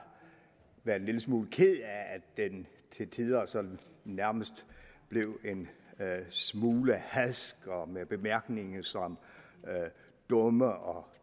været en lille smule ked af at den til tider nærmest blev en smule hadsk og med bemærkninger som dumme og